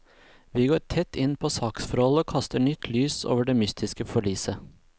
Vi går tett inn på saksforholdet og kaster nytt lys over det mystiske forliset.